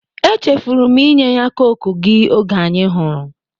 E chefụrụ m inye ya cọke gi oge anyi hụrụ